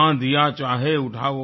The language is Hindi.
आँधियाँ चाहे उठाओ